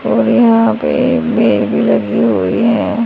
और यहां पे भीड़ भी लगी हुई है।